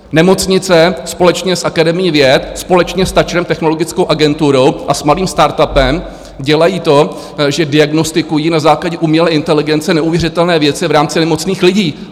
Nemocnice společně s Akademií věd, společně s TAČRem, Technologickou agenturou, a s malým startupem dělají to, že diagnostikují na základě umělé inteligence neuvěřitelné věci v rámci nemocných lidí!